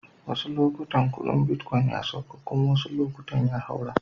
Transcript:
Wassu lokatai kudin bitcoin ya sauka kuma wasuu lokatai zai haura.